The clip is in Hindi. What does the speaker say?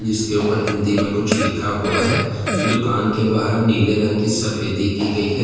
इसके ऊपर हिंदी में कुछ लिखा हुआ है दुकान के बाहर नीले रंग की सफेदी की गई है।